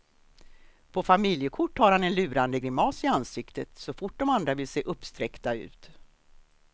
På familjekort har han en lurande grimas i ansiktet, så fort de andra vill se uppsträckta ut.